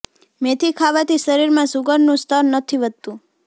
મેથી ખાવાથી શરીર માં શુગર નું સ્તર નથી વધતું